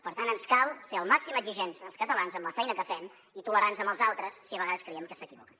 per tant ens cal ser el màxim exigents els catalans amb la feina que fem i tolerants amb els altres si a vegades creiem que s’equivoquen